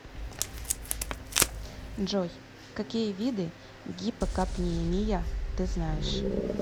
джой какие виды гипокапниемия ты знаешь